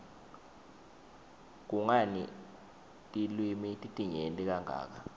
kungani tilwimi titinyenti kangaka